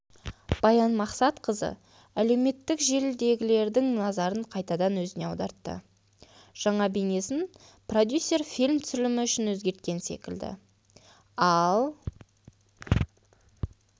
баян мақсатқызы әлеуметтік желідегілердің назарын қайтадан өзіне аудартты жаңа бейнесін продюсер фильм түсірілімі үшін өзгерткен секілді ал